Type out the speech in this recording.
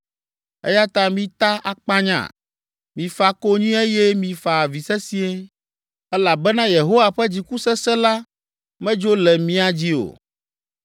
Eya ta mita akpanya, mifa konyi eye mifa avi sesĩe, elabena Yehowa ƒe dziku sesẽ la medzo le mía dzi o.”